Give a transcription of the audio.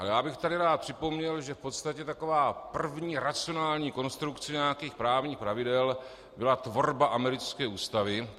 Ale já bych tady rád připomněl, že v podstatě taková první racionální konstrukce nějakých právních pravidel byla tvorba americké ústavy.